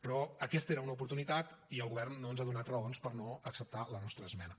però aquesta era una oportunitat i el govern no ens ha donat raons per no acceptar la nostra esmena